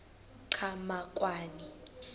qhamakwane